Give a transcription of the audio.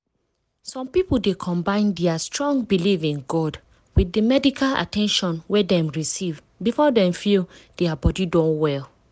some people dey combine dia strong belief in god with di medical at ten tion wey dem receive before dem feel dia body don well.